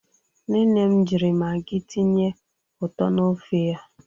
Nne nne m jiri Magị tinye ụtọ n'ofe ya.